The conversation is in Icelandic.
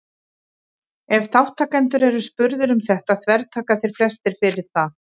ef þátttakendur eru spurðir um þetta þvertaka þeir flestir fyrir það